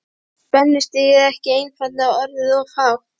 Var spennustigið ekki einfaldlega orðið of hátt?